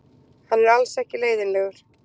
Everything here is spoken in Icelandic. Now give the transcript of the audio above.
Hann er alls ekki leiðinlegur.